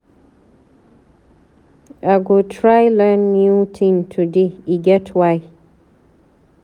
I go try learn new tin today, e get why.